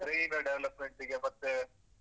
ಅವ್ರಿಗೆ brain development ಗೆ ಮತ್ತೇ.